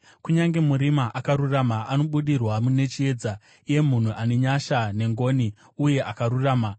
Kunyange murima akarurama anobudirwa nechiedza, iye munhu ane nyasha nengoni uye akarurama.